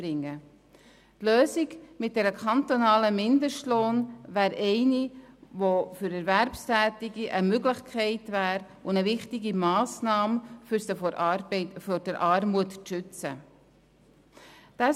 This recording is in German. Die Lösung mit einem kantonalen Mindestlohn wäre eine, die für Erwerbstätige eine Möglichkeit und eine wichtige Massnahme darstellen würde, um sie vor der Armut zu schützen.